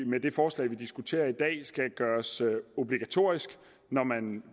med det forslag vi diskuterer i dag skal gøres obligatorisk når man